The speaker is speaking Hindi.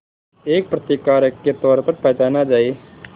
एक प्रतिकारक के तौर पर पहचाना जाए